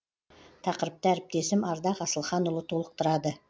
тақырыпты әріптесім ардақ асылханұлы толықтырады